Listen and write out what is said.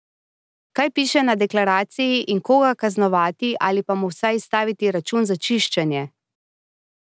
Kaj piše na deklaraciji in koga kaznovati ali pa mu vsaj izstaviti račun za čiščenje?